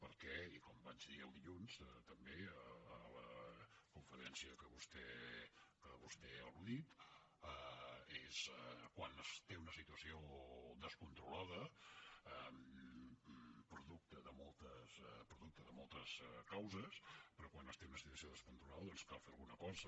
perquè i com vaig dir el dilluns també en la conferència a què vostè ha al·ludit és quan es té una situació descontrolada producte de moltes causes però quan es té una situació descontrolada doncs cal fer alguna cosa